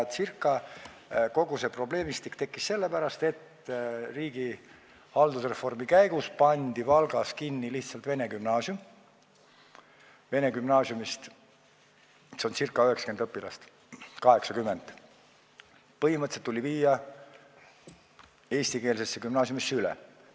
Kogu see probleemistik tekkis sellepärast, et riigi haldusreformi käigus pandi Valgas lihtsalt vene gümnaasium kinni, ca 90 õpilast tuli põhimõtteliselt eestikeelsesse gümnaasiumisse üle viia.